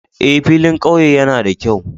Eh, filin ƙauye yana da kyau